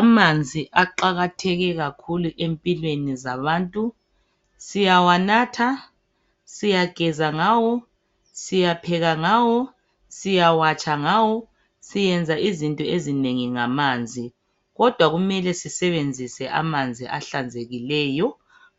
Amanzi aqakatheke kakhulu empilweni zabantu. Siyawanatha, siyageza ngawo, siyapheka ngawo, siyawatsha ngawo. Siyenza izinto ezinengi ngamanzi. Kodwa kumele sisebenzise amanzi ahlanzekileyo